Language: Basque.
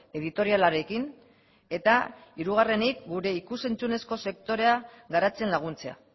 editorialarekin eta hirugarrenik gure ikus entzunezko sektorea garatzen laguntzea